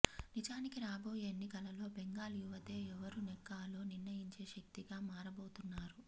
నిజానికి రాబోయే ఎన్నికలలో బెంగాల్ యువతే ఎవరు నెగ్గాలో నిర్ణయించే శక్తిగా మారబోతున్నారు